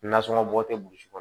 Nasɔngɔ bɔ tɛ burusi kɔnɔ